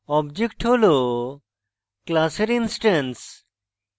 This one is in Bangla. object হল class এর ইনস্ট্যান্স